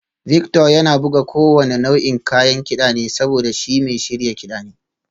Victor yana buga kowane nau'in kayan kida ne saboda shi mai shirya kiɗa ne